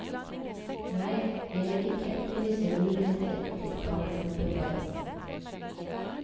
Nei, jeg vil ikke etterlyse muligheter for barneoppbevaring.